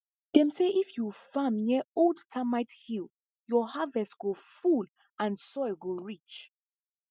dem say if you farm near old termite hill your harvest go full and soil go rich